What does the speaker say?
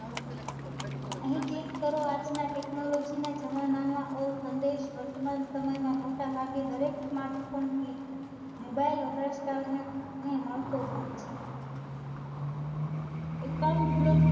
અહીં click કરો આજના technology ના જમાનામાં આવો સંદેશ વર્તમાન સમયમાં મોટા ભાગે દરેક Smartphone થી Mobile ને, ને મળતો હોય છે. Account block